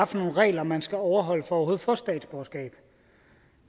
for nogle regler man skal overholde for overhovedet at få statsborgerskab